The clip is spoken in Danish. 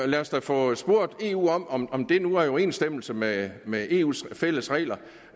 lad os da få spurgt eu om om den nu er i overensstemmelse med med eus fælles regler